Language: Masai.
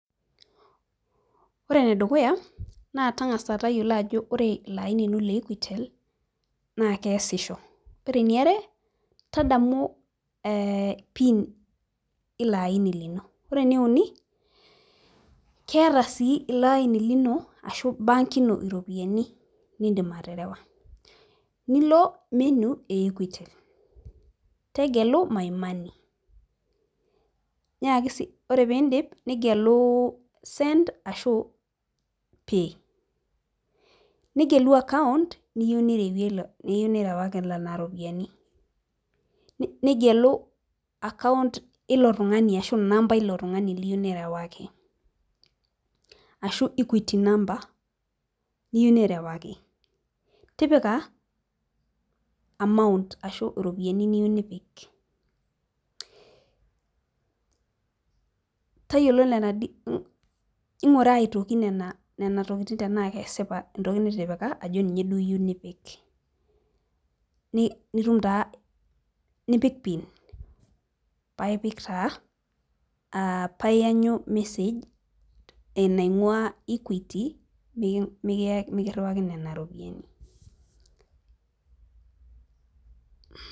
Ore enedukuya naa tang'asa tayiolo ajo ore ilo aini naa ole equitel naa keesisho ore eniare eh tadamu pin ilo aini lino ore eneuni keeta sii ilo aini lino ashu bank ino iropiyiani indim aterewa nilo menu e equitel tegelu my money nyaaki sii ore pindip nigelu send ashu pay nigelu account niyieu nirewie le niyieu nirewaki nana ropiyiani nigelu account ilo tung'ani ashu inamba ilo tung'ani liyieu nirewaki ashu equity number niyieu nirewaki tipika amount ashu iropiani niyieu nipiktayiolo nena di ing'ura aitoki nena nena tokiting tenaa kesipa entoki nitipika ajo ninye duo iyieu nipik ni nitum taa nipik pin paipik taa uh paa iyanyu message enaing'ua equity miki mikiyaki mikirriwaki nena ropiyiani.